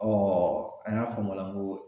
an y'a f'o ma la n ko